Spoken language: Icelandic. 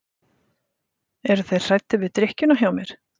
Eru þeir hræddir við drykkjuna hjá mér?